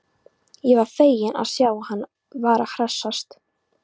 Ég var feginn að sjá að hann var að hressast!